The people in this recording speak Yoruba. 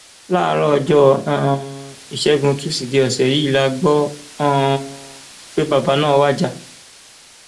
láàárọ ọjọ um ìṣẹgun tusidee ọsẹ yìí la gbọ um pé bàbá náà wájà